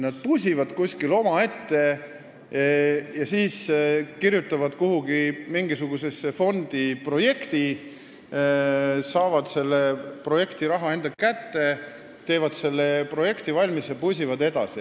Nad pusivad kuskil omaette, kirjutavad mingisuguse fondi jaoks projekti, saavad selle raha enda kätte ja teevad selle projekti valmis, ning pusivad siis edasi.